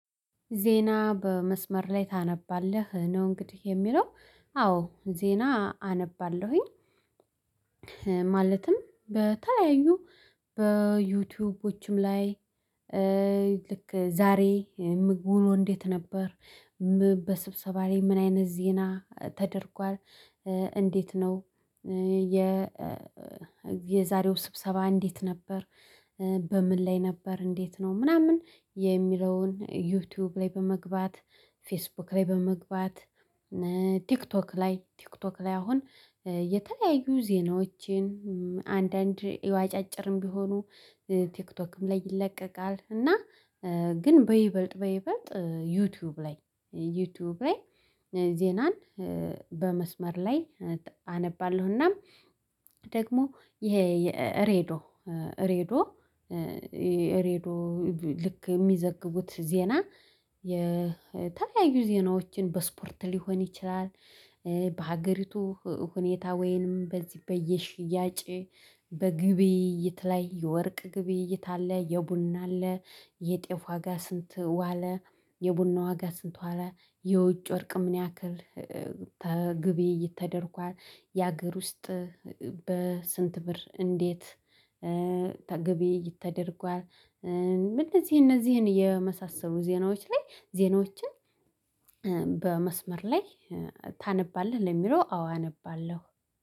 ዜና በመስመር ላይ ታነባለህ ነው? እንግዲህ የሚለው አዎ ዜና አነባለሁኝ። ማለትም በተለያዩ በዩቲዩቦችም ላይ ልክ ዛሬ ምግቡ ኖ እንዴት ነበር? በስብሰባ ላይ ምን አይነት ዜና ተደርጓል። እንዴት ነው የ የዛሬው ስብሰባ እንዴት ነበር? በምን ላይ ነበር እንዴት ነው ምናምን የሚለውን ዩቲዩብ ላይ በመግባት ፌስቡክ ላይ በመግባት ቲክቶክ ላይ ቲክቶክ ላይ አሁን የተለያዩ ዜናዎችን አንዳንድ ያው አጫጭርም ቢሆኑ ቲክቶክም ላይ ይለቀቃል። እና ግን በይበልጥ በይበልጥ ዩቲዩብ ላይ ዩቲዩብ ላይ ዜናን በመስመር ላይ አነባለሁናም ደግሞ ይሄ የሬዶ ሬዶ ሬዶ ልክ የሚዘግቡት ዜና የ ዜናዎችን በስፖርት ሊሆን ይችላል። በሀገሪቱ ሁኔታ ወይንም በዚህ በየሽያጭ በግብይይት ላይ የወርቅ ግብይይት አለ የቡና አለ የጤፍ ዋጋ ስንት ዋለ? የቡና ዋጋ ስንት ዋለ? የውጭ ወርቅ ምን ያክል ግብይይት ተደርጓል የአገር ውስጥ በስንት ብር እንዴት ግብይይት ተደርጓል። ምን እነዚህ እነዚህን የመሳሰሉ ዜናዎች ላይ ዜናዎችን በመስመር ላይ ታነባለህ ለሚለው አዎ አነባለሁ